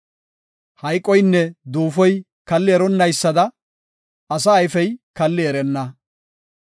Hayqoynne Duufoy kalli eronnaysada, asa ayfey kallidi erenna.